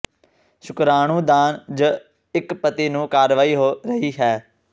ਸ਼ੁਕਰਾਣੂ ਦਾਨ ਜ ਇੱਕ ਪਤੀ ਨੂੰ ਕਾਰਵਾਈ ਹੋ ਰਹੀ ਹੈ